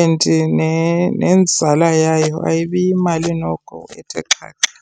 and nenzala yayo ayibi yimali noko ethe xaxa.